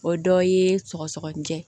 O dɔ ye sɔgɔsɔgɔni jɛ